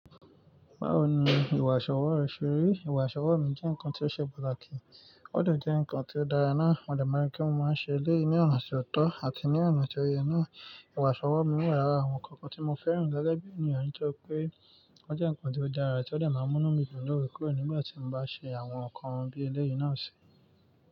Báwo ni ìwààṣọwọ́ rẹ ṣe rí? Ìwààṣọwọ́ mi jẹ́ nǹkan tí ó ṣe pàtàkì, ó de jẹ́ nǹkan tí ó dára náà. Mo de maa n ri pe mo máa ń ṣe eleyii ní ọ̀nà tó tọ́ àti ní ọ̀nà tó yẹ náà. Ìwààṣọwọ́ mi wà lára àwọn ǹkan kan tí mo fẹ́ràn gẹ́gẹ́ bí ènìyàn, tí ó jẹ́ pé ó jẹ́ nǹkan tí ó dára àti ó dà máa mú mí jù lóorekoore nígbà tí mo bá ṣe àwọn ǹkan bí ẹlẹ́yìí náà ṣe.